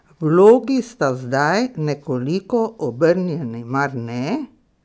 Vlogi sta zdaj nekoliko obrnjeni, mar ne?